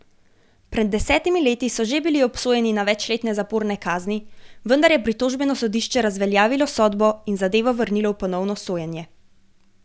Pred desetimi leti so že bili obsojeni na večletne zaporne kazni, vendar je pritožbeno sodišče razveljavilo sodbo in zadevo vrnilo v ponovno sojenje.